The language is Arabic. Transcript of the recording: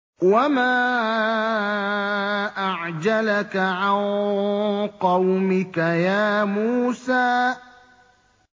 ۞ وَمَا أَعْجَلَكَ عَن قَوْمِكَ يَا مُوسَىٰ